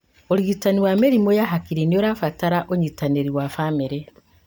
ũrigitani wa mĩrimũ ya hakiri nĩurabatara ũnyĩtanĩri wa bamĩrĩ